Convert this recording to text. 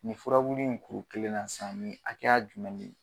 Nin furaburu in kuru kelen na sisan nin hakɛya jumɛn de.